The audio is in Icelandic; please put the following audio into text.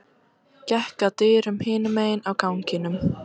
Gekk að dyrum hinum megin á ganginum.